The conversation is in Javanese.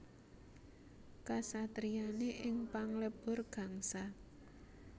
Kasatriyané ing Panglebur Gangsa